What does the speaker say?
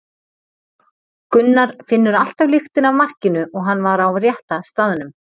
Gunnar finnur alltaf lyktina af markinu og hann var á rétta staðnum.